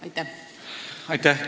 Aitäh!